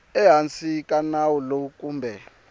ehansi ka nawu lowu kumbe